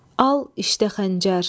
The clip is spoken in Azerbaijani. Al, iştə xəncər!